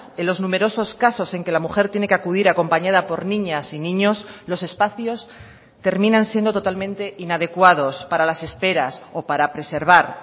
en los numerosos casos en que la mujer tiene que acudir acompañada por niñas y niños los espacios terminan siendo totalmente inadecuados para las esperas o para preservar